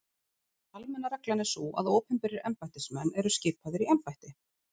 Almenna reglan er sú að opinberir embættismenn eru skipaðir í embætti.